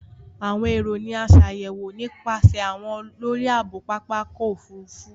Awọn ero ni a ṣayẹwo nipasẹ awọn olori aabo Papa ọkọ ofurufu.